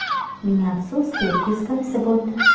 Ming afsuski, teskarisi bo‘ldi.